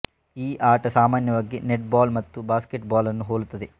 ಈ ಆಟ ಸಾಮಾನ್ಯವಾಗಿ ನೆಟ್ ಬಾಲ್ ಮತ್ತು ಬಾಸ್ಕೆಟ್ ಬಾಲ್ ನ್ನು ಹೋಲುತ್ತದೆ